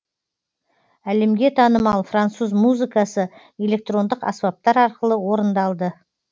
әлемге танымал француз музыкасы электрондық аспаптар арқылы орындалды